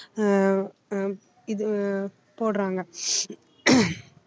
ஆஹ் ஆஹ் இது போடுறாங்க